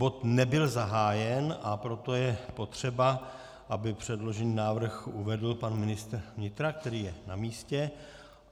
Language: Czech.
Bod nebyl zahájen, a proto je potřeba, aby předložený návrh uvedl pan ministr vnitra, který je na místě.